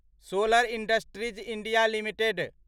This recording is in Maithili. solar Industries India limited